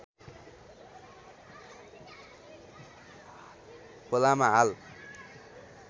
खोलामा हाल